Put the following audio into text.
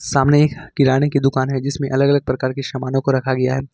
सामने एक किराने की दुकान है जिसमें अलग अलग प्रकार की सामानों को रखा गया है।